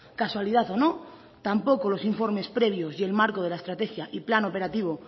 casualidad o no tampoco los informes previos y el marco de la estrategia y el plan operativo